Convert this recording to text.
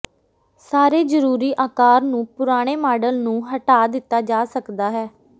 ਸਾਰੇ ਜ਼ਰੂਰੀ ਆਕਾਰ ਨੂੰ ਪੁਰਾਣੇ ਮਾਡਲ ਨੂੰ ਹਟਾ ਦਿੱਤਾ ਜਾ ਸਕਦਾ ਹੈ